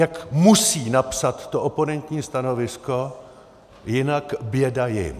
Jak musí napsat to oponentní stanovisko, jinak běda jim!